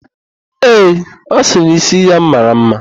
Ee, ọ sịrị na ísí ya mara ḿmá.